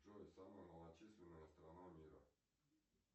джой самая малочисленная страна мира